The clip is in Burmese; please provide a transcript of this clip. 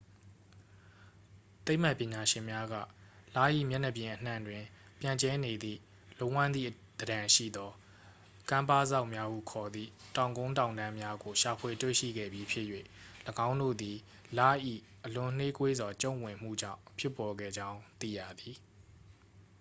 သိပ္ပံပညာရှင်များက လ၏ မျက်နှာပြင်အနှံ့တွင် ပြန့်ကျဲနေသည့် လုံးဝန်းသည့်သဏ္ဍန်ရှိသော ကမ်းပါးစောက်များဟုခေါ်သည့် တောင်ကုန်းတောင်တန်းများကို ရှာဖွေတွေ့ရှိခဲ့ပြီးဖြစ်၍ ၎င်းတို့သည် လ၏ အလွန်နှေးကွေးစွာ ကျုံ့ဝင်မှုကြောင်း ဖြစ်ပေါ်ခဲ့ကြောင်း သိရသည်